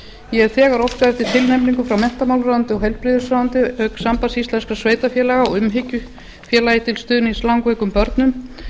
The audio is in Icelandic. ég hef þegar óskað eftir tilnefningum frá menntamálaráðuneyti og heilbrigðisráðuneyti auk sambands íslenskra sveitarfélaga og umhyggju félagi til stuðnings langveikum börnum